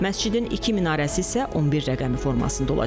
Məscidin iki minarəsi isə 11 rəqəmi formasında olacaq.